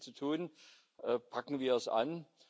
Es ist noch viel zu tun, packen wir es an.